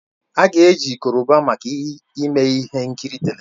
A ga eji Koroba maka ime ihe nkiri televishọn